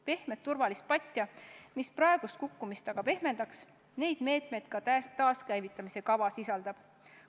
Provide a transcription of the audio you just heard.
Pehmet turvapatja, mis praegust kukkumist pehmendaks – neid meetmeid taaskäivitamise kava sisaldabki.